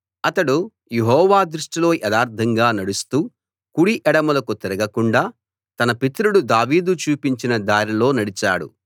అతడు యెహోవా దృష్టిలో యథార్ధంగా నడుస్తూ కుడి ఎడమలకు తిరగకుండా తన పితరుడు దావీదు చూపించిన దారిలో నడిచాడు